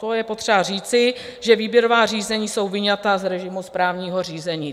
To je potřeba říci, že výběrová řízení jsou vyňata z režimu správního řízení.